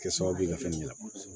Kɛ sababu ye ka fɛn ɲini